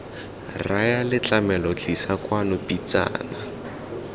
raya letlametlo tlisa kwano pitsana